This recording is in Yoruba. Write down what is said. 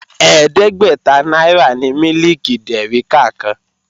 Ẹ̀ẹ́dẹ́gbẹ́ta náírà ni mílìkì dèríkà kan